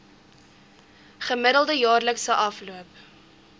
gemiddelde jaarlikse afloop